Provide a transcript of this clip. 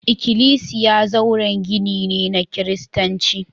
Ikklisiya zauren gini ne na Kiristanci